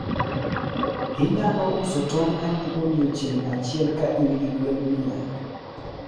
Inyalo uso tong adi odiochieng ahiel ka in gi gwen mia?